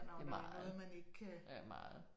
Ja meget. Ja meget